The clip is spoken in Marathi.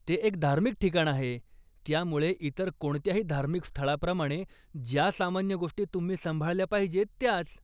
ते एक धार्मिक ठिकाण आहे, त्यामुळे इतर कोणत्याही धार्मिक स्थळाप्रमाणे ज्या सामान्य गोष्टी तुम्ही सांभाळल्या पाहिजेत, त्याच.